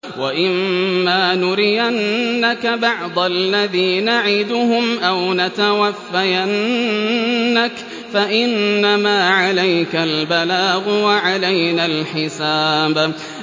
وَإِن مَّا نُرِيَنَّكَ بَعْضَ الَّذِي نَعِدُهُمْ أَوْ نَتَوَفَّيَنَّكَ فَإِنَّمَا عَلَيْكَ الْبَلَاغُ وَعَلَيْنَا الْحِسَابُ